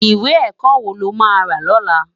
Iwé èkò wó ló má rá lòlá?